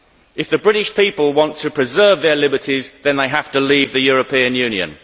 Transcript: If the British people want to preserve their liberties, then they have to leave the European Union.